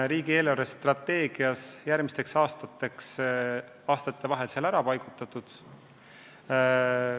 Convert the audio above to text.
Riigi eelarvestrateegias on see järgmiste aastate vahel ära jagatud.